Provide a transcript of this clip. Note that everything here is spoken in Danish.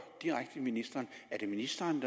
direkte ministeren er det ministeren